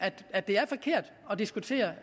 at det er forkert at diskutere